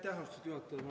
Aitäh, austatud juhataja!